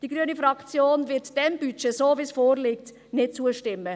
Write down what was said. Die grüne Fraktion wird dem Budget, so wie es vorliegt, nicht zustimmen.